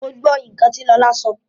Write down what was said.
Mo gbọ́ nǹkan tí Lọlá sọ oo.